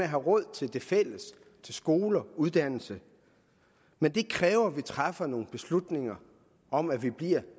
have råd til det fælles til skoler uddannelse men det kræver at vi træffer nogle beslutninger om at vi bliver